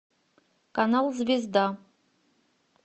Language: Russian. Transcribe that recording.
канал звезда